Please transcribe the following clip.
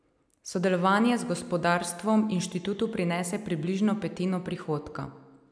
Sodelovanje z gospodarstvom inštitutu prinese približno petino prihodka.